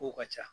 Kow ka ca